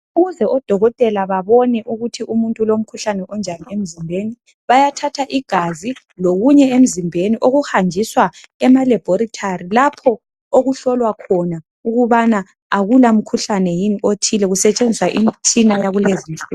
Ukuze odokotela babone ukuthi umuntu ulomkhuhlane onjani emzimbeni bayathatha igazi lokunye emzimbeni okuhanjiswa ema laboratory lapho okuhlolwa khona ukubana akula mkhuhlane yini othile kusetshenziswa imitshina yakulezi nsuku.